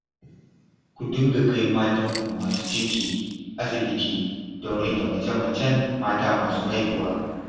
Ku dinga kai matanku masu ciki, asibiti don rage mace-macen mata masu haihuwa